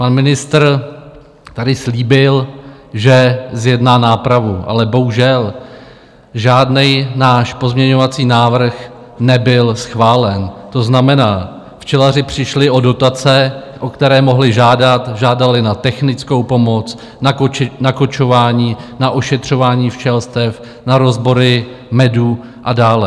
Pan ministr tady slíbil, že zjedná nápravu, ale bohužel, žádný náš pozměňovací návrh nebyl schválen, to znamená, včelaři přišli o dotace, o které mohli žádat - žádali na technickou pomoc, na kočování, na ošetřování včelstev, na rozbory medu a dále.